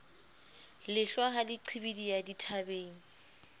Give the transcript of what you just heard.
lehlwa ha le qhibidiha dithabeng